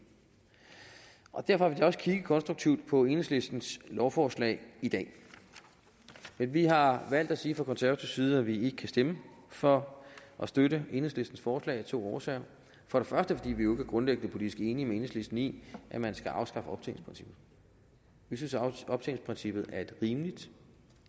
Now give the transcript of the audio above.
og derfor så også kigget konstruktivt på enhedslistens lovforslag i dag men vi har valgt at sige fra konservativ side at vi ikke kan stemme for og støtte enhedslistens forslag af to årsager for det første er vi jo grundlæggende politisk ikke enige med enhedslisten i at man skal afskaffe optjeningsprincippet vi synes at optjeningsprincippet er et rimeligt